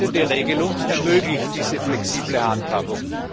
Die geltende Regelung ermöglicht diese flexible Handhabung.